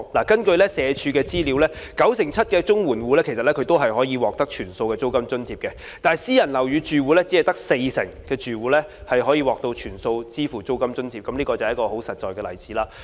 根據社會福利署的資料，九成七綜援戶可獲全數租金津貼，但私人樓宇住戶只有四成可獲全數支付租金津貼，這是一個很實在的例子。